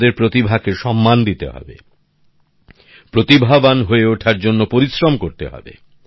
আমাদের প্রতিভা কে সম্মান দিতে হবে প্রতিভাবান হয়ে ওঠার জন্য পরিশ্রম করতে হবে